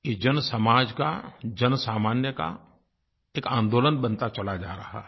ये जन समाज का जनसामान्य का एक आन्दोलन बनता चला जा रहा है